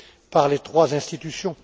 par les trois institutions.